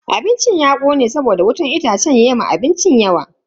Abincin ya kone saboda wutan itacen ya ma abincin yawa.